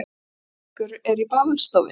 Niðamyrkur er í baðstofunni.